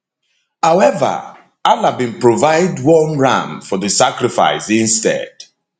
however allah bin provide one ram for di sacrifice instead